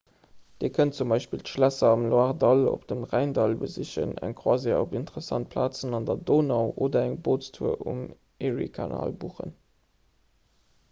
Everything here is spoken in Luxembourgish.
dir kënnt zum beispill d'schlässer am loire-dall oder am rhäin-dall besichen eng croisière op interessant plazen un der donau oder eng bootstour um erie-kanal buchen